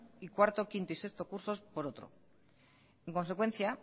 y cuarto quinto y sexto cursos por otro en consecuencia